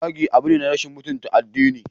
Zagi abu ne na rashin mutunta addini.